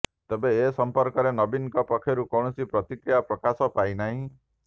ତେବେ ଏ ସଂପର୍କରେ ନବୀନଙ୍କ ପକ୍ଷରୁ କୌଣସି ପ୍ରତିକ୍ରିୟା ପ୍ରକାଶ ପାଇନାହିଁ